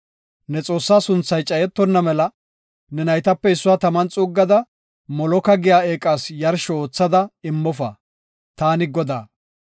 “Ne Xoossaa sunthay cayetonna mela ne naytape issuwa taman xuuggada, Moloka giya eeqas yarsho oothada immofa. Taani Godaa.